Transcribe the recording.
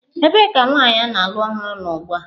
Ebee ka nwanyị a na-alụ ọhụrụ nọ ugbu a?